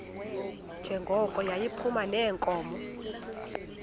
njengoko yayiphuma neenkomo